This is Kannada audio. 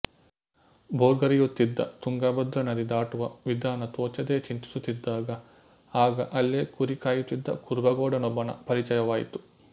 ಭೋರ್ಗರೆಯುತ್ತಿದ್ದ ತುಂಗಭದ್ರಾ ನದಿ ದಾಟುವ ವಿಧಾನ ತೋಚದೆ ಚಿಂತಿಸುತ್ತಿದ್ದಾಗ ಆಗ ಅಲ್ಲೆ ಕುರಿ ಕಾಯುತ್ತಿದ್ದ ಕುರುಬಗೌಡನೂಬ್ಬನ ಪರಿಚಯವಾಯಿತು